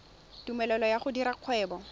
tumelelo ya go dira kgwebo